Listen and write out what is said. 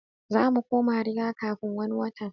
Zamu koma riga kafi wani watan